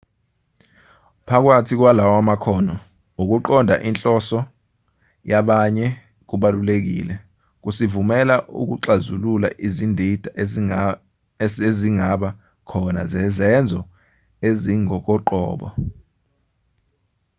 phakathi kwalawa makhono ukuqonda inhloso yabanye kubalulekile kusivumela ukuxazilula izindida ezingaba khona zezenzo ezingokoqobo